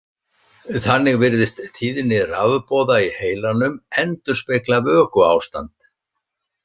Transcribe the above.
Þannig virðist tíðni rafboða í heilanum endurspegla vökuástand.